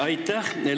Aitäh!